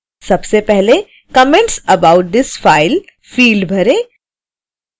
सबसे पहले comments about this file field भरें